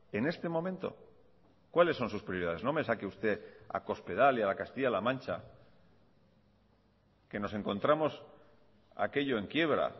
en este momento cuáles son sus prioridades no me saque usted a cospedal y a la castilla la mancha que nos encontramos aquello en quiebra